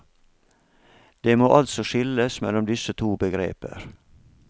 Det må altså skilles mellom disse to begreper.